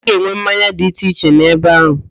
A ga-enwe mmanya dị iche iche n'ebe áhụ̀.